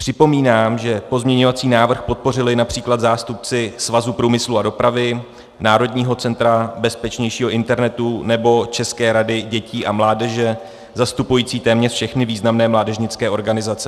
Připomínám, že pozměňovací návrh podpořili například zástupci Svazu průmyslu a dopravy, Národního centra bezpečnějšího internetu nebo České rady dětí a mládeže zastupující téměř všechny významné mládežnické organizace.